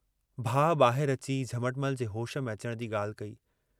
भाउ बाहिर अची झमटमल जे होश में अचण जी गाल्हि कई।